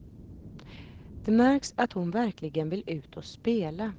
Det märks att hon verkligen vill ut och spela.